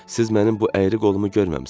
Siz mənim bu əyri qolumu görməmisiz.